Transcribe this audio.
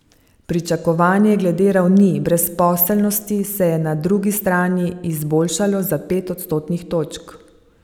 Pričakovanje glede ravni brezposelnosti se je na drugi strani izboljšalo za pet odstotnih točk.